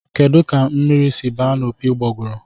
Kedụ ka mmiri si ba na opi ụgbogụrụ?